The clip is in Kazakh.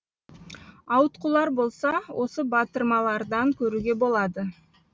ауытқулар болса осы батырмалардан көруге болады